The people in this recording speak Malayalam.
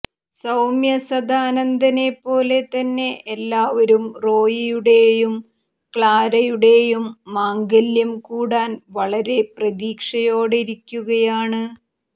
സൌമ്യ സദാനന്ദനെ പോലെ തന്നെ എല്ലാവരും റോയിയുടെയും ക്ലാരയുടെയും മാംഗല്യം കൂടാൻ വളരെ പ്രതീക്ഷയോടെയിരിക്കുകയാണ്